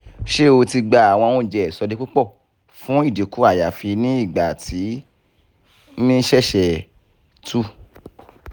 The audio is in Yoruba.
ṣe o ti gba àwọn oúnjẹ ìsọdipúpọ̀ fún ìdínkù àyàfi ní ìgbà tí ó ṣẹ́ṣẹ̀ two